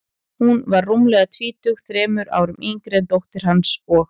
Hún var rúmlega tvítug, þremur árum yngri en dóttir hans, og